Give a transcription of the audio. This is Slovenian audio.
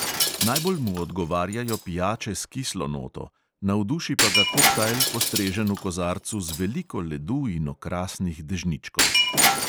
Najbolj mu odgovarjajo pijače s kislo noto, navduši pa ga koktajl, postrežen v kozarcu z veliko ledu in okrasnih dežničkov.